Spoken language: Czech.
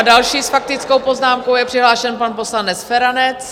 A další s faktickou poznámkou je přihlášen pan poslanec Feranec.